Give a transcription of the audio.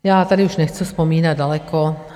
Já tady už nechci vzpomínat daleko.